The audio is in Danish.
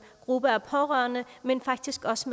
gruppe af pårørende men faktisk også